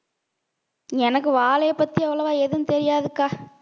எனக்கு வாழையைப் பத்தி அவ்வளவா எதுவும் தெரியாதுக்கா